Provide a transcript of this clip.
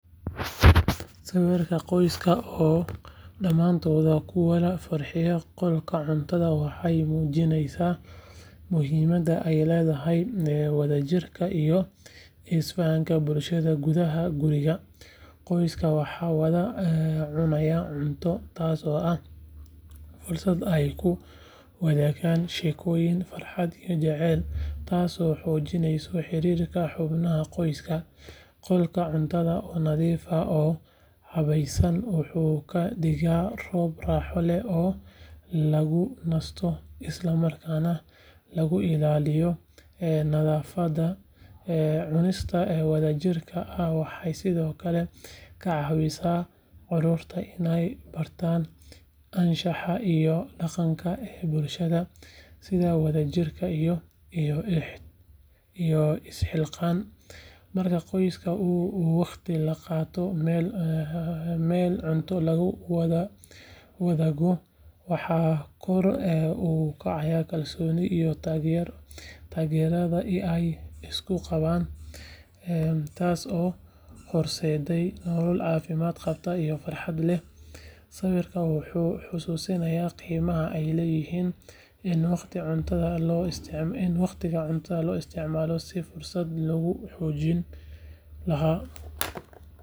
Sawirka qoyska oo dhammaantood ku wada fadhiya qolka cuntada waxay muujinaysaa muhiimadda ay leedahay wadajirka iyo isfahanka bulshada gudaha guriga. Qoysasku waxay wada cunayaan cunto, taasoo ah fursad ay ku wadaagaan sheekooyin, farxad iyo jacayl taasoo xoojinaysa xiriirka xubnaha qoyska. Qolka cuntada oo nadiif ah oo habaysan wuxuu ka dhigaa goob raaxo leh oo lagu nasto isla markaana lagu ilaaliyo nadaafadda. Cunista wadajirka ah waxay sidoo kale ka caawisaa carruurta inay bartaan anshaxa iyo dhaqanka bulshada sida wadaagista iyo isxilqaan. Marka qoyska uu waqti la qaato meel cunto lagu wadaago, waxaa kor u kaca kalsoonida iyo taageerada ay isku qabaan, taasoo horseedaysa nolol caafimaad qabta oo farxad leh. Sawirkan wuxuu xusuusinayaa qiimaha ay leedahay in waqtiga cuntada loo isticmaalo sidii fursad lagu xoojin lahaa.